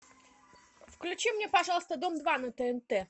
включи мне пожалуйста дом два на тнт